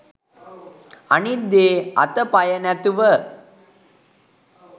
අනිත් දේ අත පය නැතිව